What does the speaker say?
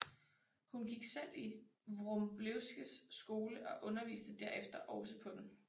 Hun gik selv i Wroblewskys skole og underviste derefter også på den